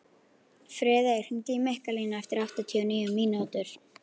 Friðey, hringdu í Mikkalínu eftir áttatíu og níu mínútur.